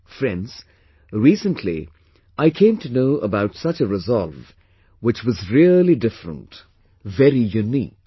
Friends, recently, I came to know about such a resolve, which was really different, very unique